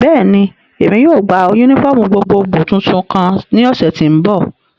Bẹ́ẹ̀ni, Emi yóò gba unifọmú gbogbogbo tuntun kan ni oṣu ti n bọ.